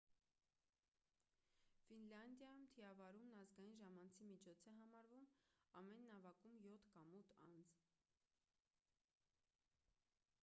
ֆինլանդիայում թիավարումն ազգային ժամանցի միջոց է համարվում ամեն նավակում յոթ կամ ութ անձ